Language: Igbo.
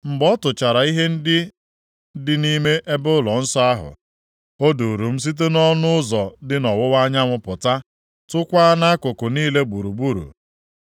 Mgbe ọ tụchara ihe ndị dị nʼime ebe ụlọnsọ ahụ, o duuru m site nʼọnụ ụzọ dị nʼọwụwa anyanwụ pụta, tụkwaa nʼakụkụ niile gburugburu.